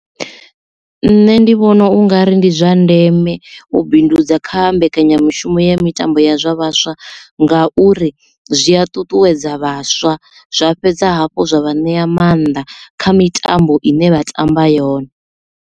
Nṋe ndi vhona ungari ndi zwa ndeme u bindudza kha mbekanyamushumo ya mitambo ya zwa vhaswa nga uri zwi a ṱuṱuwedza vhaswa zwa fhedza hafhu zwa vha ṋea maanḓa kha mitambo ine vha tamba yone.